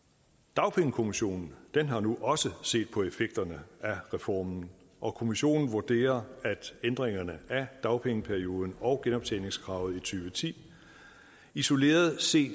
dagpengekommissionen har nu også set på effekterne af reformen og kommissionen vurderer at ændringerne af dagpengeperioden og genoptjeningskravet i to tusind og ti isoleret set